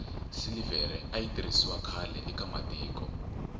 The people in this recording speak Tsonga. silivhere ayi tirhisiwa khlae ka matiko